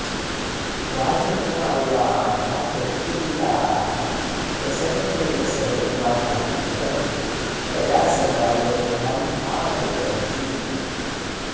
राजकुमार्याः कैकेय्याः दशरथेन सह विवाहानन्तरं तया सह अयोध्याम् आगतवती